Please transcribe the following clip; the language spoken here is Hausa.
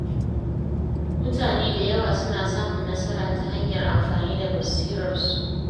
Mutane da yawa suna samun nasara ta hanyar amfani da basirarsu.